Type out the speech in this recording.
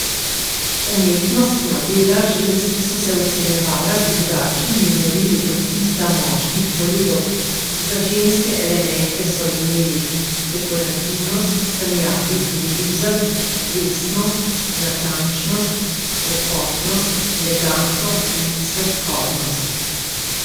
Umetnostna dela žensk so se ocenjevala z drugačnimi merili kot tista moških kolegov, za ženske elemente so imeli dekorativnost, sanjavi lirizem, vestnost, natančnost, lepotnost, eleganco in sladkobnost.